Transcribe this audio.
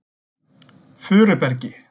Furubergi